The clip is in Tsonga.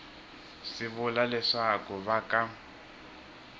swi vula leswaku va ka